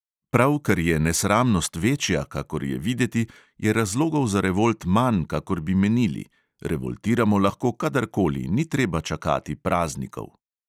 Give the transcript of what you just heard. Prav ker je nesramnost večja, kakor je videti, je razlogov za revolt manj, kakor bi menili: revoltiramo lahko kadarkoli, ni treba čakati praznikov.